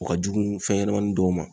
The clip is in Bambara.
O ka jugun fɛnɲɛnɛmanin dɔw ma.